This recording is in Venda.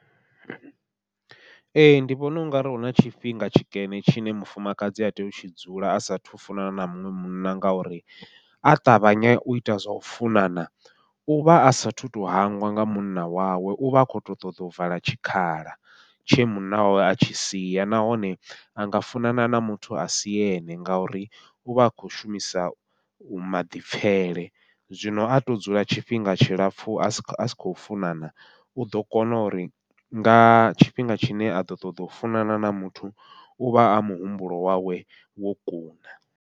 Ee ndi vhona ungari huna tshifhinga tshikene tshine mufumakadzi a tea u tshi dzula a sathu funana na muṅwe munna, ngauri a ṱavhanye uita zwau funana uvha a sathu to hangwa nga munna wawe, uvha a khoto ṱoḓa u vala tshikhala tshe munna awe a tshi sia. Nahone anga funana na muthu asi ene ngauri uvha a khou shumisa u maḓipfhele, zwino ato dzula tshifhinga tshilapfhu a si a si khou funana, uḓo kona uri nga tshifhinga tshine aḓo ṱoḓa u funana na muthu uvha a muhumbulo wawe wo kuna.